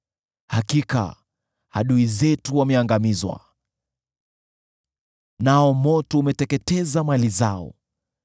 ‘Hakika adui zetu wameangamizwa, nao moto umeteketeza mali zao.’